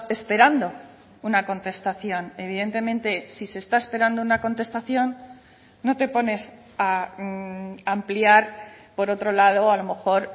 esperando una contestación evidentemente si se está esperando una contestación no te pones a ampliar por otro lado a lo mejor